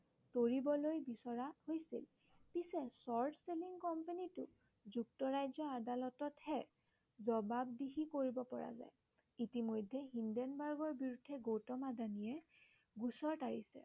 কৰিবলৈ বিচৰা হৈছিল। পিছে short selling company টো যুক্তৰাজ্য়ৰ আদালততহে জবাবদিহি কৰিব পৰা যায়। ইতিমধ্য়ে হিন্দেন বাৰ্গৰ বিৰুদ্ধে গৌতম আদানীয়ে গোচৰ তৰিছে